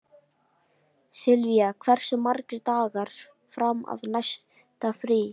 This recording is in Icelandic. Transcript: Silvía, hversu margir dagar fram að næsta fríi?